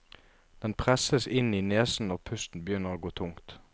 Den presses inn i nesen når pusten begynner å gå tungt.